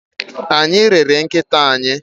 Anyị rere nkịta anyị.